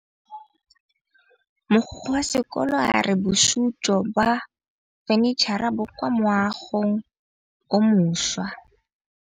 Mogokgo wa sekolo a re bosutô ba fanitšhara bo kwa moagong o mošwa.